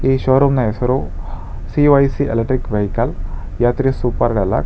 ಈ ಶೋರೂಮ್ ನ ಹೆಸರು ಸಿ_ವೈ_ಸಿ ಎಲೆಕ್ಟ್ರಿಕಲ್ ವೆಹಿಕಲ್ ಯಾತ್ರೆ ಸೂಪರ್ ಡೆಲ್ಲಾಕ್.